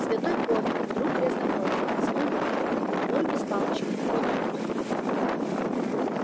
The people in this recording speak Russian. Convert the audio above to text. святой поттер друг грязнокровок протянул малфой нуль без палочки вот он кто